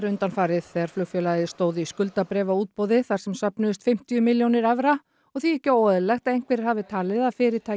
undanfarið þegar flugfélagið stóð í skuldabréfaútboði þar sem söfnuðust fimmtíu milljónir evra og því ekki óeðlilegt að einhverjir hafi talið að fyrirtækið